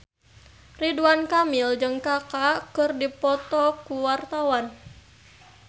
Ridwan Kamil jeung Kaka keur dipoto ku wartawan